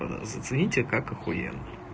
ээ зацените как ахуенно